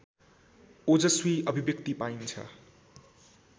ओजस्वी अभिव्यक्ति पाइन्छ